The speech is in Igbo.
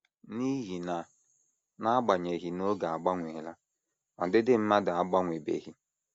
N’ihi na n’agbanyeghị na oge agbanweela, ọdịdị mmadụ agbanwebeghị.